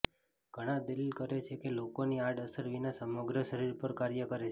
ઘણા દલીલ કરે છે કે લોકોની આડઅસર વિના સમગ્ર શરીર પર કાર્ય કરે છે